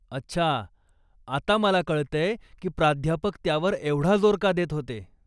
अच्छा, आता मला कळतय की प्राध्यापक त्यावर एवढा जोर का देत होते?